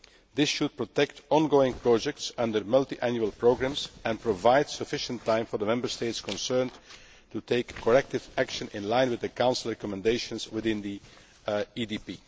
This should protect ongoing projects under multiannual programmes and provide sufficient time for the Member State concerned to take corrective action in line with the Council recommendations within the EDP.